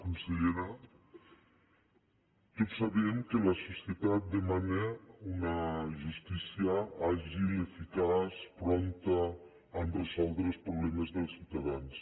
consellera tots sabem que la societat demana una justícia àgil eficaç prompta a resoldre els problemes dels ciutadans